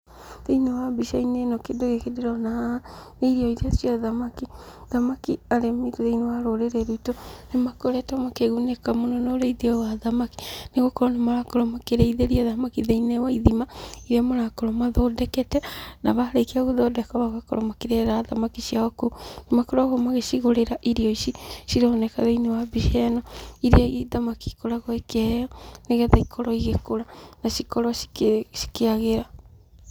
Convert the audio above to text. Thĩiniĩ wa mbica-inĩ ĩno kĩndũ gĩkĩ ndĩrona haha, nĩ irio iria cia thamaki, thamaki arĩmi thĩiniĩ wa rũrĩrĩ rwitũ, nĩ makoretwo makĩgunĩka mũno na ũrĩithia ũyũ wa thamaki, nĩ gũkorwo nĩmarakorwo makĩrĩithĩria thamaki thĩiniĩ wa ithima irĩa marakorwo mathondekete, na marĩkia gũthondeka magakorwo makĩrerera thamaki ciao kũu, nĩ makoragwo magĩcigũrĩra irio ici cironeka thĩiniĩ wa mbica ĩno, irĩa thamaki ikoragwo ikĩheo, nĩgetha ikorwo igĩkũra na cikorwo cikĩ cikĩagĩra.